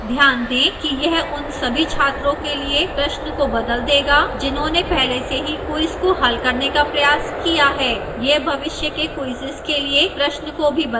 ध्यान दें कि यह उन सभी छात्रों के लिए प्रश्न को बदल देगा जिन्होंने पहले से ही quiz को हल करने का प्रयास किया है यह भविष्य के quizzes के लिए प्रश्न को भी बदल देगा